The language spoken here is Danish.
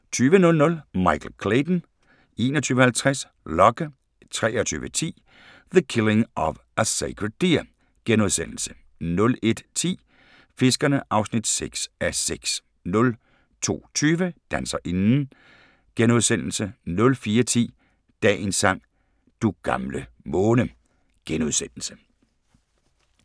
20:00: Michael Clayton 21:50: Locke 23:10: The Killing of a Sacred Deer * 01:10: Fiskerne (6:6) 02:20: Danserinden * 04:10: Dagens sang: Du gamle måne *